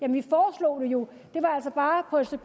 jo det var altså